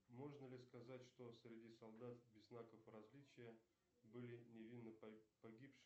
можно ли сказать что среди солдат без знаков различия были невинно погибшие